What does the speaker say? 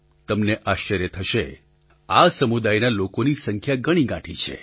તમને આશ્ચર્ય થશે આ સમુદાયના લોકોની સંખ્યા ગણીગાંઠી છે